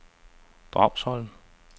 Dragsholm